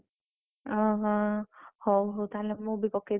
ଅଁ ହୋ ହଉ ହଉ ତାହେଲେ ମୁଁ ବି ପକେଇଦେବି।